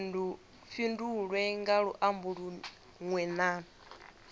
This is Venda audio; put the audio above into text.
fhindulwe nga luambo lunwe na